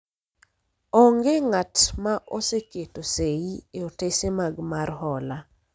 onge ng'at ma oseketo sei e otese mag mar hola